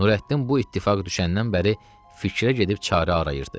Nurəddin bu ittifaq düşəndən bəri fikrə gedib çarə arayırdı.